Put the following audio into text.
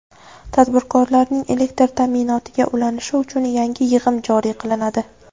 Tadbirkorlarning elektr ta’minotiga ulanishi uchun yangi yig‘im joriy qilinadi.